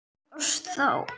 Þú ólst þá.